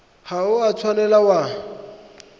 ga o a tshwanela wa